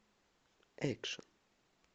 экшен